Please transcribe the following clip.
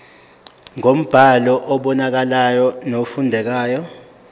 ngombhalo obonakalayo nofundekayo